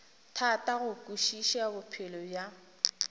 thata go kwešiša bophelo bja